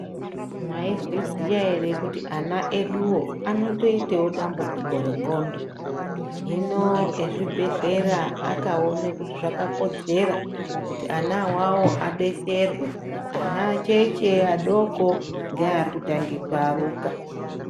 Maizviziya ere kuti ana eduwo anoita dambudziko rendxondo hino mezvibhehlera akaona kuti zvakakodzera kuti ana awawo adetserwe ana acheche adoko neari kutanga kuaruka.